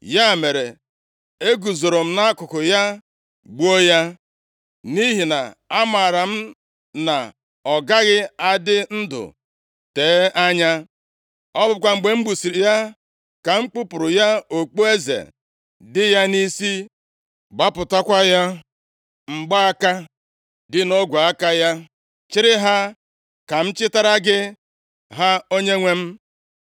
“Ya mere, eguzoro m nʼakụkụ ya, gbuo ya, nʼihi na amaara m na ọ gaghị adị ndụ tee anya. Ọ bụkwa mgbe m gbusịrị ya ka m kpupụrụ ya okpueze dị ya nʼisi, gbapụtakwa ya mgbaaka dị nʼogwe aka ya, chịrị ha, ka m chịtara gị ha, onyenwe m.”